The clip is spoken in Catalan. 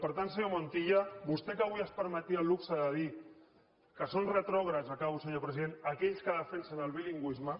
per tant senyor montilla vostè que avui es permetia el luxe de dir que són retrògrads acabo senyor president aquells que defensen el bilingüisme